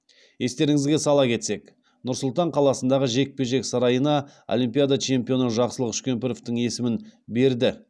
естеріңізге сала кетсек нұр сұлтан қаласындағы жекпе жек сарайына олимпиада чемпионы жақсылық үшкемпіровтің есімін берді